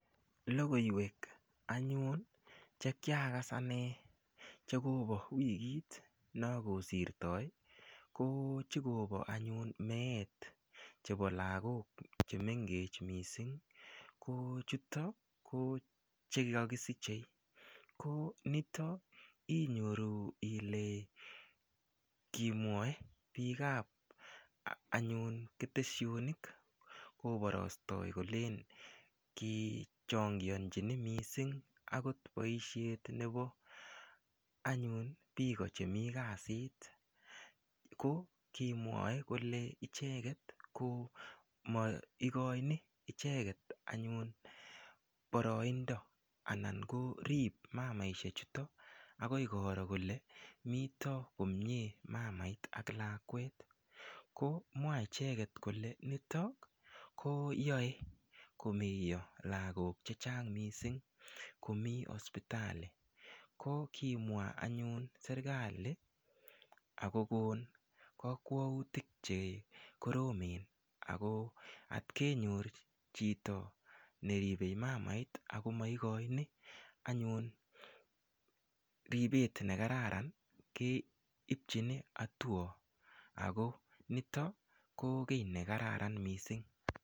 Lokoiwek anyun che kiakas ane chekobo wikit no kosirtoi ko chekobo anyun meet chebo lakok chemengech mising ko chutok ko chekakisichei ko nito inyoru ile kimwoe biik ap anyun keteshonik koborostoi kolen kichongionchini mising akot boishet nebo anyun biko chemii kasit ko kimwoe kole icheket ko mo ikoini icheket anyun boroindo anan korip mamaishek chuton akoi koro kole mito komie mamait ak lakwet ko mwa icheket kole nito ko yoe komeiyo lakok che chang mising komii hospitali ko kimwa anyun serikali akokon kakwautik chekoromen ako atkenyor chito neribei mamait akomaikoini anyun ripet nekararan keipchini hatua ako nito ko kiy nekararan mising.